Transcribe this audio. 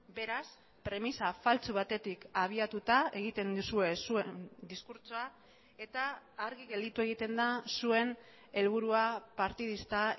beraz premisa faltsu batetik abiatuta egiten duzue zuen diskurtsoa eta argi gelditu egiten da zuen helburua partidista